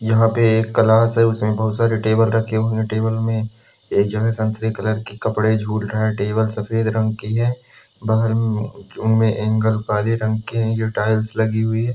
यहाँ पे एक क्लास है उसमे बहोत सारे टेबल रखे हुए हैं टेबल में एक जगह संतरे कलर के कपडे झूल रहा है टेबल सफ़ेद रंग की हैं बहार में उनमे एंगल काले रंग के हैं जो टाइल्स लगी हुई है।